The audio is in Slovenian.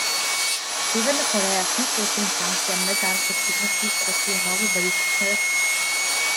Severna Koreja kljub ostrim sankcijam mednarodne skupnosti razvija nove balistične rakete.